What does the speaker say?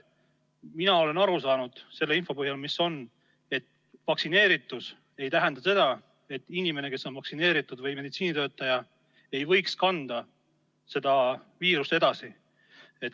Mina olen aru saanud selle info põhjal, mis on avaldatud, et vaktsineeritus ei tähenda seda, et inimene, kes on vaktsineeritud, ka meditsiinitöötaja, ei võiks viirust edasi kanda.